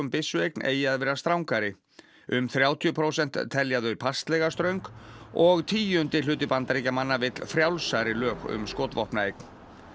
byssueign eigi að vera strangari um þrjátíu prósent telja þau passlega ströng og tíundi hluti Bandaríkjamanna vill frjálsari lög um skotvopnaeign